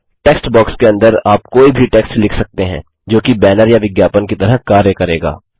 text box के अंदर आप कोई भी टेक्स्ट लिख सकते हैं जोकि बैनर या विज्ञापन की तरह कार्य करेगा